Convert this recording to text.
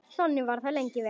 Þannig var það lengi vel.